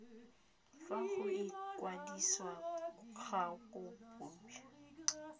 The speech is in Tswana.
fa go ikwadisa ga mokopi